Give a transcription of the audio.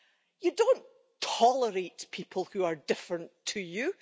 You don't tolerate people who are different to you.